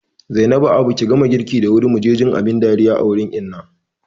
Zainabu abu ki gama girki da wuri muje jin abin dariya wurin Inna